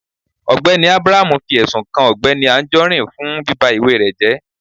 Ọgbẹni Abraham fi ẹsún kàn Ọgbẹni Anjorin fún bíbá ìwà rẹ jẹ